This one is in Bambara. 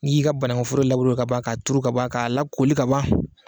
N'i y'i ka banau foro laburu ka ban k'a turu kaban ka la koli kaban